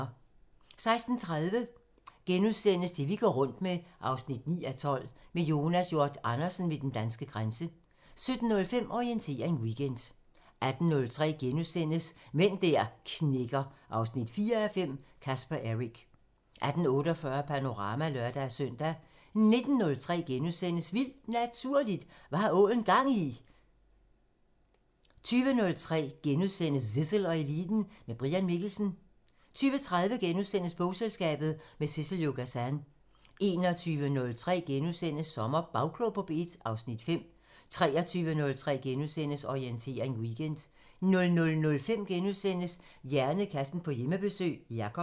16:30: Det vi går rundt med 9:12 – Med Jonas Hjort Andersen ved den danske grænse * 17:05: Orientering Weekend 18:03: Mænd der knækker 4:5 – Caspar Eric * 18:48: Panorama (lør-søn) 19:03: Vildt Naturligt: Hvad har ålen gang i?! * 20:03: Zissel og Eliten: Med Brian Mikkelsen * 20:30: Bogselskabet – med Sissel-Jo Gazan * 21:03: SommerBagklog på P1 (Afs. 5)* 23:03: Orientering Weekend * 00:05: Hjernekassen på Hjemmebesøg – Jacob *